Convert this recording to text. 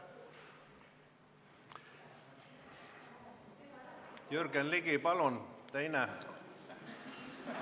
Jürgen Ligi, palun, teine küsimus!